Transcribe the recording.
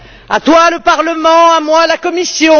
À toi le Parlement, à moi la Commission.